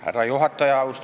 Härra juhataja!